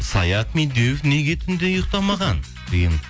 саят медеуов неге түнде ұйықтамаған деген